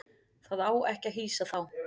Það á ekki að hýsa þá.